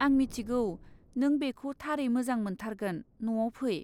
आं मिथिगौ नों बेखौ थारै मोजां मोनथारगोन, न'आव फै!